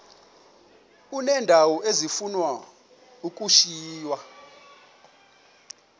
uneendawo ezifuna ukushiywa